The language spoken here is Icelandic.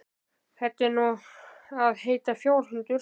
Þetta á nú að heita fjárhundur.